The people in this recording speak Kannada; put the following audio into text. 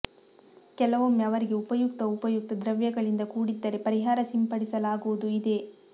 ಕೆಲವೊಮ್ಮೆ ಅವರಿಗೆ ಉಪಯುಕ್ತ ಉಪಯುಕ್ತ ದ್ರವ್ಯಗಳಿಂದ ಕೂಡಿದ್ದರೆ ಪರಿಹಾರ ಸಿಂಪಡಿಸಲಾಗುವುದು ಇದೆ